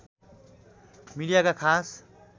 मीडियाका खास